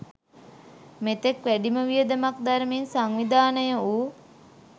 මෙතෙක් වැඩිම වියදමක් දරමින් සංවිධානය වූ